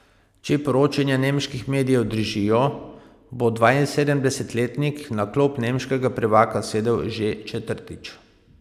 Če poročanje nemških medijev držijo, bo dvainsedemdesetletnik na klop nemškega prvaka sedel že četrtič.